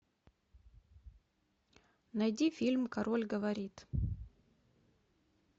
найди фильм король говорит